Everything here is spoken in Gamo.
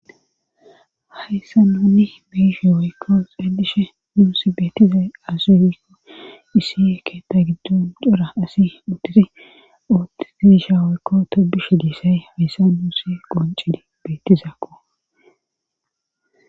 hayssa nunni meishi woykko xeelishe nuusi bettizay asuugikko issi eketa giddon cora asi utiri ootigiisha woykko tobishe giissay hayssa nuusi qoncidi bettizaakko.